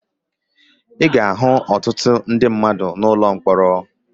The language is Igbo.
Ị ga-ahụ ọtụtụ ndị mmadụ n'ụlọ mkpọrọ